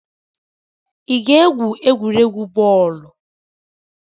Ị ga-egwu egwuregwu bọọlụ.